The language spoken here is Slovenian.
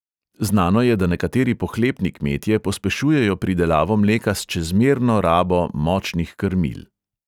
Znano je, da nekateri pohlepni kmetje pospešujejo pridelavo mleka s čezmerno rabo močnih krmil.